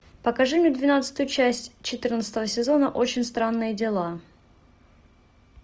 покажи мне двенадцатую часть четырнадцатого сезона очень странные дела